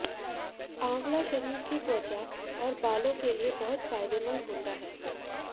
आंवला शरीर की त्वचा और बालों के लिए बहुत फायदेमंद होता है